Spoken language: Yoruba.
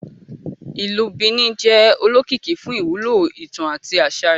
Ìlú Benin jẹ olókìkí fún ìwúlò ìtàn àti aṣa rẹ.